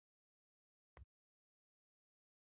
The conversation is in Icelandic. Sigurmark, Kjartans Henry kom í uppbótartíma leiksins.